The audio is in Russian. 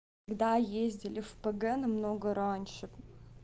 да ездили в парк горького намного раньше